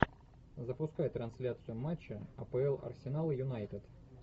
запускай трансляцию матча апл арсенал юнайтед